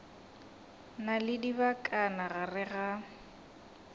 na le dibakana gare ga